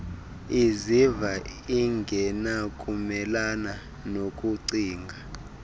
iziva ingenakumelana nokucinga